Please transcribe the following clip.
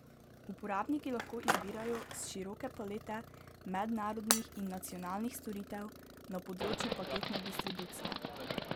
Uporabniki lahko izbirajo s široke palete mednarodnih in nacionalnih storitev na področju paketne distribucije.